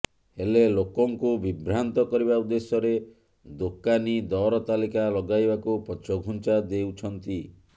ହେଲେ ଲୋକଙ୍କୁ ବିଭ୍ରାନ୍ତ କରିବା ଉଦ୍ଦେଶ୍ୟରେ ଦୋକାନୀ ଦର ତାଲିକା ଲଗାଇବାକୁ ପଛଘୁଞ୍ଚା ଦେଉଛନ୍ତି